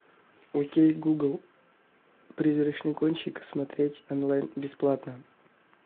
окей гугл призрачный гонщик смотреть онлайн бесплатно